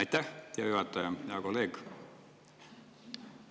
Aitäh, hea juhataja!